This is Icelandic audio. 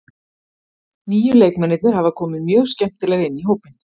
Nýju leikmennirnir hafa komið mjög skemmtilega inn í hópinn.